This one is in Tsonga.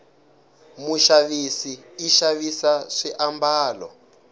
mushavisi ishavisa swi ambalo